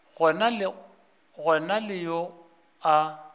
go na le yo a